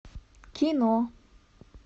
кино